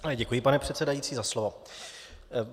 Děkuji, pane předsedající, za slovo.